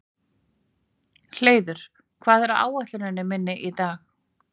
Hleiður, hvað er á áætluninni minni í dag?